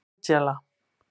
Angela